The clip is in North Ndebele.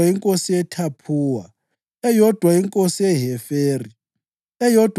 inkosi yeThaphuwa, eyodwa inkosi yeHeferi, eyodwa